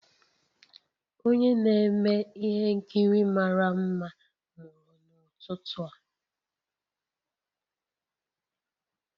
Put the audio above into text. Onye na-eme ihe nkiri mara mma mụrụ n'ụtụtụ a